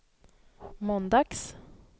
måndags